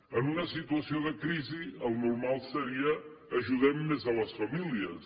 en una situació de crisi el normal seria ajudem més a les famílies